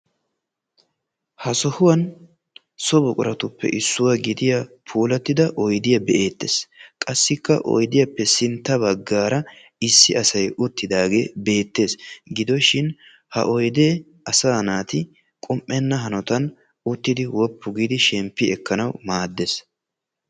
Ha sohuwan so buqquratuppe issuwa gidiya puulatida oydiya be'ettees. Qassikka oyddiyappe sintta baggaara issi asay uttidaaga beettees. Gidoshin ha oydee asaa naati qoppenna hanotan uttidi woppu giidi shemppi ekkanawu maaddees.